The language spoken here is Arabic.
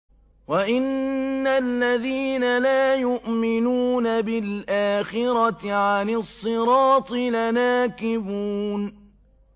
وَإِنَّ الَّذِينَ لَا يُؤْمِنُونَ بِالْآخِرَةِ عَنِ الصِّرَاطِ لَنَاكِبُونَ